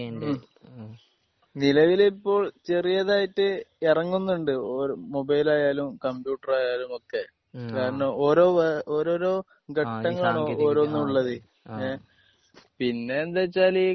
ഹ്മ് നിലവിലിപ്പോൾ ചെറിയതായിട്ട് ഇറങ്ങുന്നുണ്ട്. മൊബൈൽ ആയാലും കമ്പ്യൂട്ടർ ആയാലും ഒക്കെ കാരണം ഓരോ ഓരോരോ ആഹ് ആഹ് ഘട്ടങ്ങളാണ് ഓരോന്നിലും ഉള്ളത് ആഹ് ഏഹ് പിന്നെ എന്ത് വെച്ചാൽ